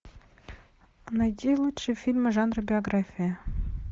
найди лучшие фильмы жанра биография